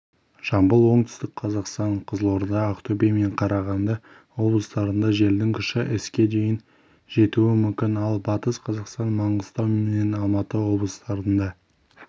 жамбыл оңтүстік қазақстан қызылорда ақтөбе мен қарағанды облыстарында желдің күші с-ге дейін жетуі мүмкін ал батыс қазақстан маңғыстау мен алматы облыстарында